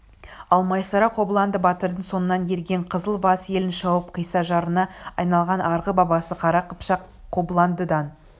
ал майсара қобыланды батырдың соңынан ерген қызыл бас елін шауып қисса жырына айналған арғы бабасы қара қыпшақ қобыландыдан